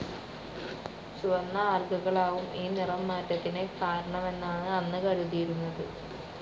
ചുവന്ന ആൽഗകളാവും ഈ നിറം മാറ്റത്തിനു കാരണമെന്നാണ് അന്ന് കരുതിയിരുന്നത്.